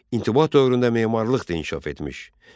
İntiba dövründə memarlıq da inkişaf etmiş.